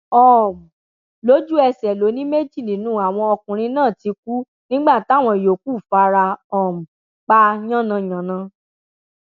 um lójúẹsẹ ló ní méjì nínú àwọn ọkùnrin náà ti kú nígbà táwọn yòókù fara um pa yànnà yànna